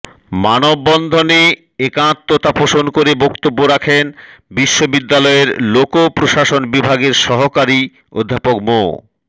মানববন্ধনে একাত্মতা পোষণ করে বক্তব্য রাখেন বিশ্ববিদ্যালয়ের লোকপ্রশাসন বিভাগের সহকারী অধ্যাপক মো